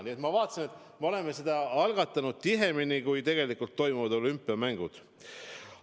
Nii et ma vaatasin, et me oleme seda algatanud tihemini, kui toimuvad olümpiamängud.